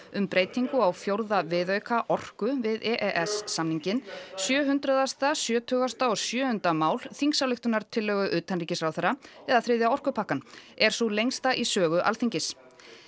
um breytingu á fjórða viðauka orku við e e s samninginn sjö hundraðasta sjötugasta og sjöunda mál þingsályktunartillögu utanríkisráðherra eða þriðja orkupakkann er sú lengsta í sögu Alþingis